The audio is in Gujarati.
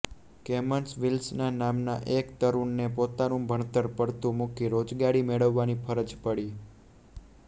કેમન્સ વિલ્સન નામના એક તરુણને પોતાનું ભણતર પડતું મૂકી રોજગારી મેળવવાની ફરજ પડી